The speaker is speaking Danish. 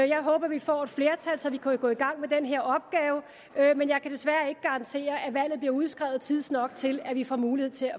jeg håber vi får et flertal så vi kan gå i gang med den her opgave men jeg kan desværre ikke garantere at valget bliver udskrevet tidsnok til at vi får mulighed